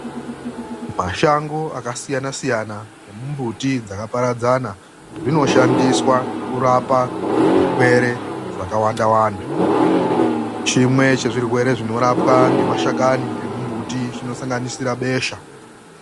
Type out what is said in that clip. MASHANGO AKASIYANA SIYANA NEMUMBUTI DZAKAPARADZANA ZVINOSHANDISWA KURAPA ZVIRWERE ZVAKAWANDAWANDA CHIMWE CHEZVIRWERE CHINOSANGANISIRA BESHA